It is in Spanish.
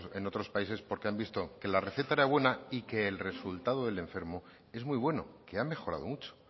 en otros países porque han visto que la receta era buena y que el resultado del enfermo es muy bueno que ha mejorado mucho